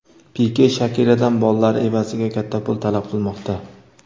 Pike Shakiradan bolalari evaziga katta pul talab qilmoqda.